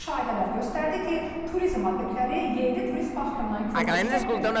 Müşahidələr göstərdi ki, turizm obyektləri yerli turist baxımından korluq çəkmir.